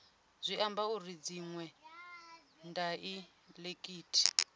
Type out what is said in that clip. zwi ambi uri dziṅwe daiḽekithi